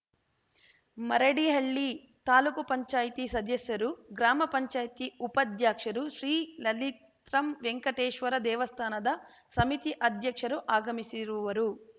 ಮರಡಿಹಳ್ಳಿ ತಾಲೂಕು ಪಂಚಾಯತಿ ಸದಸ್ಯರು ಗ್ರಾಮಪಂಚಾಯತಿ ಉಪಾಧ್ಯಕ್ಷರು ಶ್ರೀ ಲಲಿತ್ರಂ ವೆಂಕಟೇಶ್ವರ ದೇವಸ್ಥಾನದ ಸಮಿತಿ ಅಧ್ಯಕ್ಷರು ಆಗಮಿಸಿರುವರು